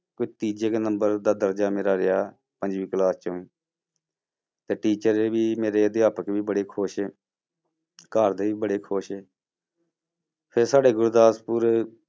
ਕੋਈ ਤੀਜੇ ਕੁ number ਦਾ ਦਰਜਾ ਮੇਰਾ ਰਿਹਾ, ਪੰਜਵੀਂ class ਚੋਂ ਤੇ teacher ਵੀ ਮੇਰੇ ਅਧਿਆਪਕ ਵੀ ਬੜੇ ਖ਼ੁਸ਼ ਘਰਦੇ ਵੀ ਬੜੇ ਖ਼ੁਸ਼ ਫਿਰ ਸਾਡੇ ਗੁਰਦਾਸਪੁਰ